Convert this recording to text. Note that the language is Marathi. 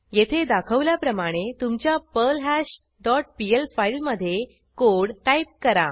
येथे दाखवल्याप्रमाणे तुमच्या पर्ल्हाश डॉट पीएल फाईलमधे कोड टाईप करा